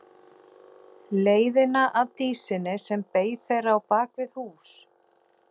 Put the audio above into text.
Leiðina að Dísinni sem beið þeirra á bak við hús.